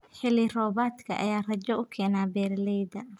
Xilli roobaadka ayaa rajo u keena beeralayda.